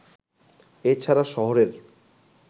এ ছাড়া শহরের